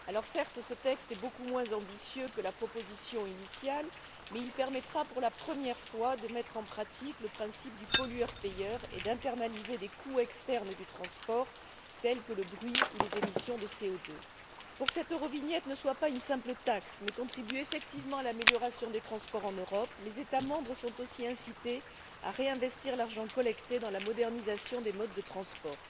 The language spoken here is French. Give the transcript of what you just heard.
Certes, ce texte est beaucoup moins ambitieux que la proposition initiale mais il permettra pour la première fois de mettre en pratique le principe du pollueur payeur et d'internaliser des coûts externes du transport tels que le bruit ou les émissions de CO2. Pour que cette Eurovignette ne soit pas une simple taxe mais contribue effectivement à l'amélioration des transports en Europe, les États membres sont aussi incités à réinvestir l'argent collecté dans la modernisation des modes de transport.